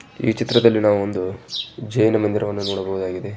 ಈ ಚಿತ್ರದಲ್ಲಿ ನಾವು ಒಂದು ಜೈನ ಮಂದಿರವನ್ನು ನೋಡಬಹುದಾಗಿದೆ.